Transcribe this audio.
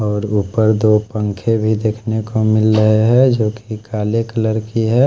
और ऊपर दो पंखे भी देख नेको मिल रहे है जो की काले कलर की है।